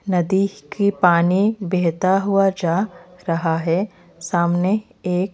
नदी की पानी बहता हुआ जा रहा है सामने एक--